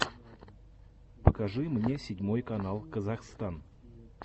покажи мне седьмой канал казахстн